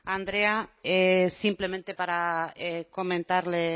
andrea simplemente para comentarle